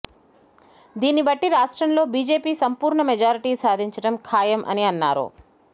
దీన్నిబట్టి రాష్ట్రంలో బీజేపీ సంపూర్ణ మెజార్టీ సాధించటం ఖాయం అని అన్నారు